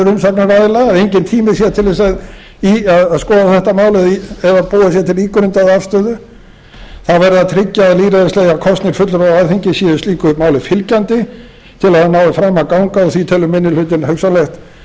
kvartanir umsagnaraðila að enginn tími sé til að skoða þetta mál eða búa sér til ígrundaða afstöðu þá verður að tryggja að lýðræðislega kosnir fulltrúar á alþingi séu slíku máli fylgjandi til að það nái fram að ganga og því telur minni hlutinn hugsanlegt að